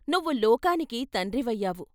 నువ్వులోకానికి తండ్రి వయ్యావు.